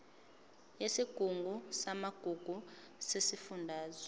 yesigungu samagugu sesifundazwe